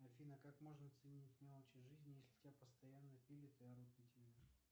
афина как можно ценить мелочи жизни если тебя постоянно пилят и орут на тебя